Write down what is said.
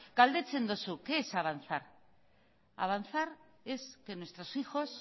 galdetzen duzu qué es avanzar avanzar es que nuestros hijos